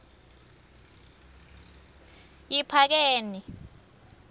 yiphakeni